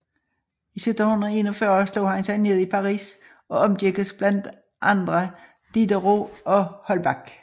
I 1741 slog han sig ned i Paris og omgikkes blandt andre Diderot og Holbach